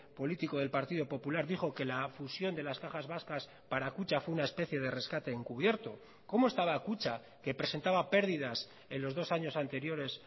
político del partido popular dijo que la fusión de las cajas vascas para kutxa fue una especie de rescate encubierto cómo estaba kutxa que presentaba pérdidas en los dos años anteriores